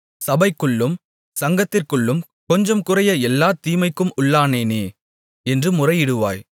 சபைக்குள்ளும் சங்கத்திற்குள்ளும் கொஞ்சம்குறைய எல்லாத் தீமைக்கும் உள்ளானேனே என்று முறையிடுவாய்